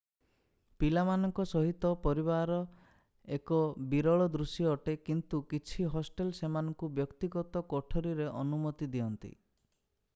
ପିଲାମାନଙ୍କ ସହିତ ପରିବାର ଏକ ବିରଳ ଦୃଶ୍ୟ ଅଟେ କିନ୍ତୁ କିଛି ହଷ୍ଟେଲ ସେମାନଙ୍କୁ ବ୍ୟକ୍ତିଗତ କୋଠରୀରେ ଅନୁମତି ଦିଅନ୍ତି।